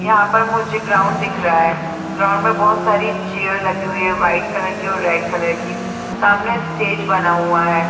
यहाँ पर मझे ग्राउंड दिख रहा है ग्राउंड में बहुत सारी चेयर लगी हुई है वाइट कलर की और रेड कलर की सामने स्टेज बना हुआ है।